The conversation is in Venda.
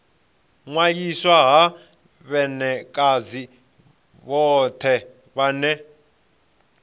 ṅwaliswa ha vhanekedzi vhothe vha